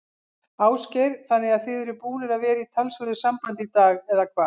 Ásgeir: Þannig að þið eruð búnir að vera í talsverðu sambandi í dag, eða hvað?